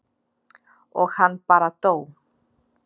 og hann bara dó.